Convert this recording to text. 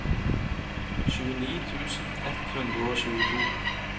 tjueni tusen ett hundre og tjueto